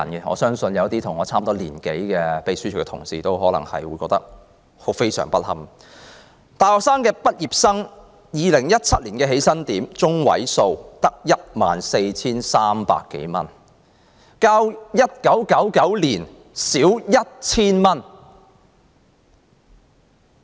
我相信一些與我年齡相若的秘書處同事可能會覺得非常不堪 ，2017 年大學畢業的起薪點中位數只有 14,300 多元，較1999年少 1,000 元。